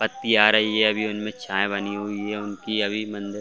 पत्ती आ रही हैं उन्मे छाए बनी हुई हैं उनकी अभी मंदिर--